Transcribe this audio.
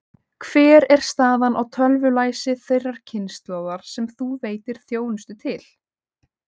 Hver er staðan á tölvulæsi þeirrar kynslóðar sem þú veitir þjónustu til?